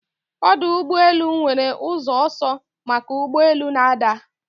Ọdụ ụgbọ elu nwere ụzọ ọsọ maka ụgbọ elu na-ada